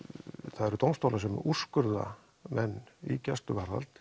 það eru dómstólar sem úrskurða menn í gæsluvarðhald